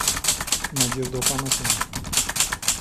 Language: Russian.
надежду афанасьевну